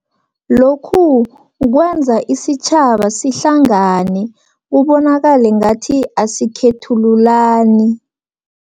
Lokhu kukwenza isitjhaba sihlangane, kubonakale ngathi asikhethululani.